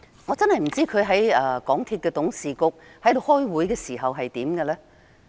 我真的不知道局長在港鐵公司董事局開會時是怎樣的呢？